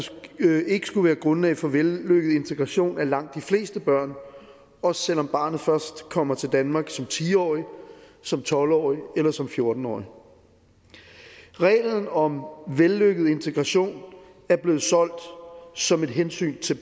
ikke skulle være grundlag for vellykket integration af langt de fleste børn også selv om barnet først kommer til danmark som ti årig som tolv årig eller som fjorten årig reglen om vellykket integration er blevet solgt som et hensyn til